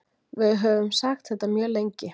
Við höfum sagt þetta mjög lengi